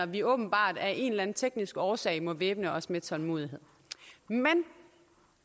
vi åbenbart af en eller anden teknisk årsag må væbne os med tålmodighed men